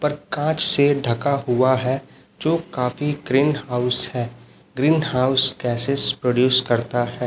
पर कांच से ढका हुआ है जो काफी ग्रीन हाउस है ग्रीन हाउस कैसे प्रोड्यूस करता है।